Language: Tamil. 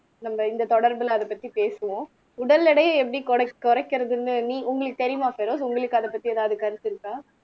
நம்ம இந்த தொடர்புல அதைப் பத்தி பேசுவோம் உடல் எடையை எப்படி குறைக் குறைக்கிறதுன்னு நீ உங்களுக்கு தெரியுமா பெரோஸ் உங்களுக்கு அதைப் பத்தி ஏதாவது கருத்து இருக்கா